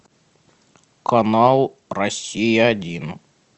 канал россия один